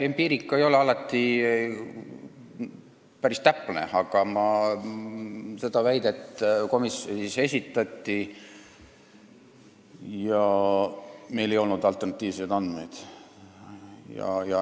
Empiiria ei ole alati päris täpne, aga komisjonis see väide esitati ja meil ei olnud alternatiivseid andmeid.